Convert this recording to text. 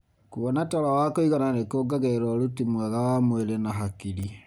Kũona toro wa kũigana nĩ kũongagĩrira ũruti mwega wa mwĩrĩ na hakiri.